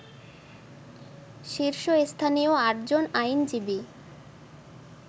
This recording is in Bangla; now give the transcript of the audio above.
শীর্ষস্থানীয় আটজন আইনজীবী